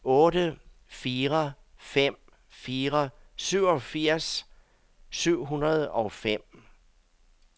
otte fire fem fire syvogfirs syv hundrede og fem